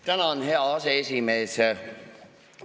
Tänan, hea aseesimees!